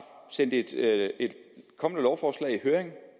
sendt et kommende lovforslag i høring